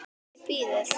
Nei, bíðið.